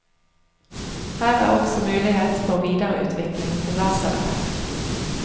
Her er også mulighet for videreutvikling til lasereffekt.